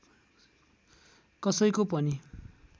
कसैको पनि